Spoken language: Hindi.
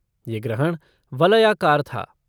यह ग्रहण वलयाकार था।